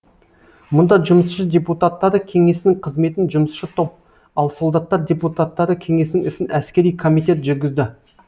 мұнда жұмысшы депутаттары кеңесінің қызметін жұмысшы топ ал солдаттар депутаттары кеңесінің ісін әскери комитет жүргізді